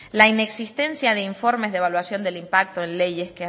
la inexistencia de informes de evaluación de impacto en leyes